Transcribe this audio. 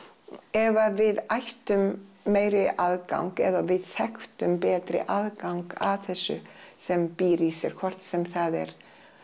ef að við ættum meiri aðgang eða við þekktum betri aðgang að þessu sem býr í sér hvort sem það er